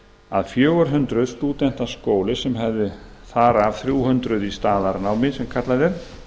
að fjögur hundruð stúdenta skóli sem hefði þar af þrjú hundruð í staðnámi sem kallað er